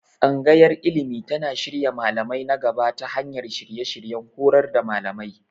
Tsangayar Ilimi tana shirya malamai na gaba ta hanyar shirye-shiryen horar da malamai.